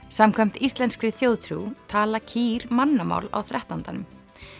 samkvæmt íslenskri þjóðtrú tala kýr mannamál á þrettándanum